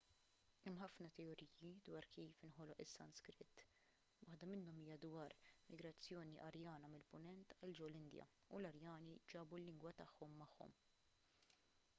hemm ħafna teoriji dwar kif inħoloq is-sanskrit waħda minnhom hija dwar migrazzjoni arjana mill-punent għal ġol-indja u l-arjani ġabu l-lingwa tagħhom magħhom